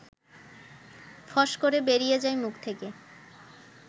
ফস করে বেরিয়ে যায় মুখ থেকে